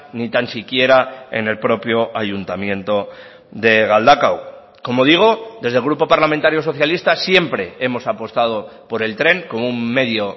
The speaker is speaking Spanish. ni tan siquiera en el propio ayuntamiento de galdakao como digo desde el grupo parlamentario socialista siempre hemos apostado por el tren como un medio